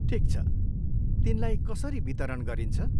ठिक छ, तिनलाई कसरी वितरण गरिन्छ?